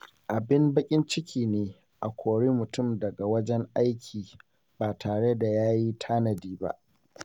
Abin baƙin ciki ne a kori mutum daga wajen aiki ba tare da ya yi tanadi ba.